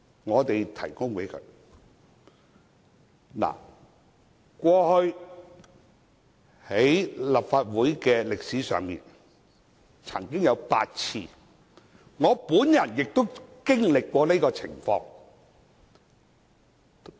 過去，這種情況在立法會歷史上曾經出現8次，我亦曾經歷這種情況。